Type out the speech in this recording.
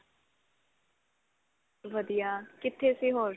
ਵਧੀਆ ਕਿੱਥੇ ਸੀ ਹੋਰ